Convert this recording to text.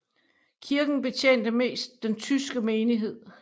Kirken betjente mest den tyske menighed